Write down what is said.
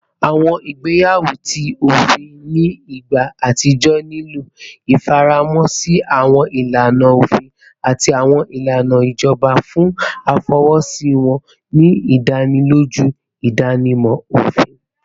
Awọn igbeyawo ti ofin ni igba atijọ nilo ifaramọ si awọn ilana ofin ati awọn ilana ijọba fun afọwọsi wọn, ni idaniloju idanimọ ofin